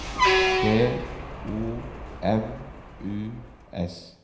B O N U S